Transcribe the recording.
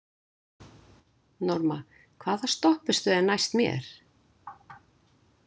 Norma, hvaða stoppistöð er næst mér?